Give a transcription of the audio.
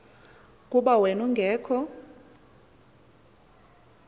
kuba wen ungekho